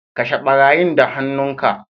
Kashe barayin da han'nu ka.